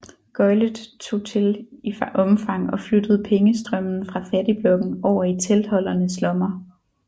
Gøglet tog til i omfang og flyttede pengestrømmen fra fattigblokken over i teltholdernes lommer